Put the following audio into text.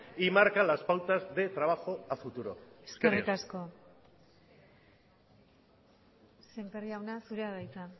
y marca las pautas de trabajo a futuro eskerrik asko sémper jauna zurea da hitza